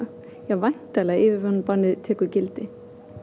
væntanlega yfirvinnubannið tekur gildi